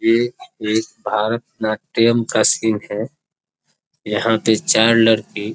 ये एक भारत-नाट्यम का सीन है यहां पर चार लड़की--